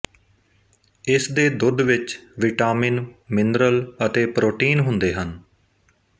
ਇਸ ਦੇ ਦੁਧ ਵਿੱਚ ਵਿਟਾਮੀਨ ਮਿਨਰਲ ਅਤੇ ਪ੍ਰੋਟੀਨ ਹੁੰਦੇ ਹਨ